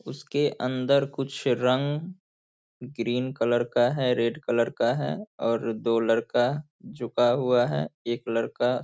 उसके अंदर कुछ रंग ग्रीन कलर का है रेड कलर का है और दो लड़का झुका हुआ है एक लड़का --